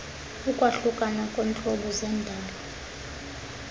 ukwahlukana kweentlobo zendalo